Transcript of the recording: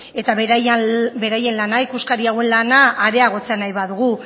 eta beraien lana ikuskari hauen lana areagotzea nahi baldin badugu